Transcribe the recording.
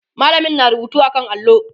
mallamin na rubutu a kan allo